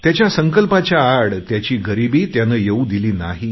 त्याच्या संकल्पाच्या आड त्याची गरिबी त्याने येऊ दिली नाही